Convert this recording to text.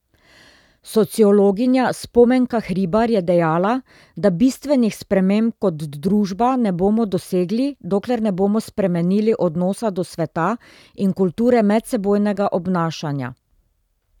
Sociologinja Spomenka Hribar je dejala, da bistvenih sprememb kot družba ne bomo dosegli, dokler ne bomo spremenili odnosa do sveta in kulture medsebojnega obnašanja.